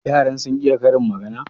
yaran sun iya Karin magana?